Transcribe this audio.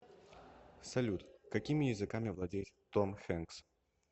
салют какими языками владеет том хенкс